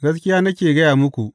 Gaskiya nake gaya muku.